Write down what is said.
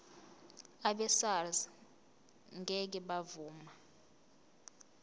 abesars ngeke bavuma